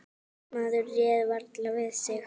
Maður réð varla við sig.